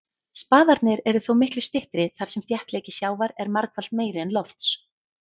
Spaðarnir eru þó miklu styttri þar sem þéttleiki sjávar er margfalt meiri en lofts.